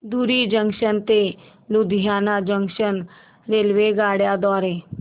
धुरी junction ते Ludhiana junction रेल्वेगाड्यां द्वारे